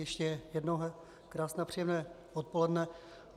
Ještě jednou krásné a příjemné odpoledne.